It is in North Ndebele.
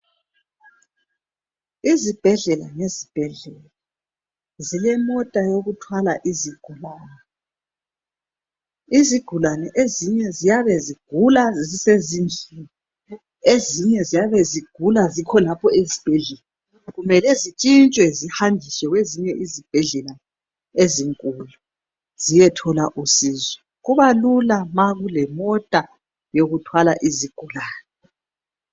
Izibhedlela ngezibhedlela, zilemota yokuthwala izigulane. Izigulane ezinye ziyaba zigula zisezindlini, ezinye ziyabezigula zikhonapho esibhedlela kumele zitshintshwe zihanjiswe kwezinye izibhedlela ezinkulu ziyethola usizo. Kubalula ma kulemota yokuthwala izigulane.